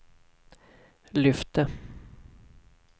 lyfte